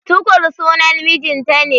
Tukur sunan mijinta ne.